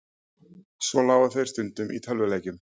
Svo lágu þeir stundum í tölvuleikjum.